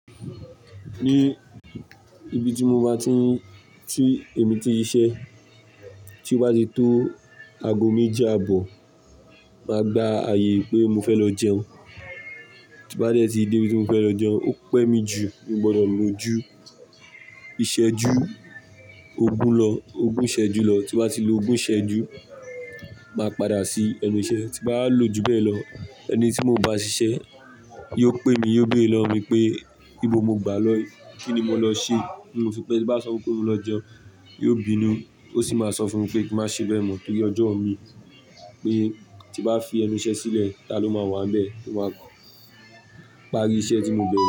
Ní ibi tí mo bá ti ń, tí èmi ti siṣẹ́, tí o bati tó ago méji àbọ̀, màá gba ààyè pé mo fẹ́ lọ jẹun. Tí mo bá dẹ́ tí dé ibi tí mo fẹ́ lọ jẹun, ó pẹ́ mi jù, mi ò gbọdọ̀ lò ojú, ìṣẹ́ ojú ogún lọ, ogún ìṣẹ́ jú lọ. Ti n ba ti lò ogún ìṣẹ́ ojú, màá padà sí ẹnu ìṣẹ́. Ti báwa lò ju bẹ́ẹ̀ lọ, ẹni tí mo bá ń ṣiṣẹ́ yóò pè mi, yóò beere lọ́wo mi pé, ibo mo gbà lọ, kíni mo lọ ṣe? Ti mo fi pé tí bá sọ fun pe mo lọ jẹun, yóò bínú, yoo sì máa sọ fún mi pé kí n má ṣe bẹ́ẹ̀ mọ̀ torí ọjọ́ mi pé tí bá fi ẹnu ìṣẹ́ sílẹ̀, ta ló máa wà níbẹ̀ tó máa pàrí iṣẹ́ tí mo bẹ̀rẹ̀?